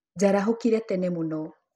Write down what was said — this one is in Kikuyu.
Njarahũkire tene mũno.